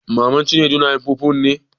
Maman Cinedu na yin fufun ne?